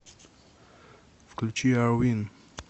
включи ар вин